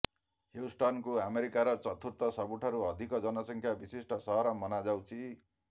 ହ୍ୟୁଷ୍ଟନକୁ ଆମେରିକାର ଚତୁର୍ଥ ସବୁଠାରୁ ଅଧିକ ଜନସଂଖ୍ୟା ବିଶିଷ୍ଟ ସହର ମାନାଯାଉଛି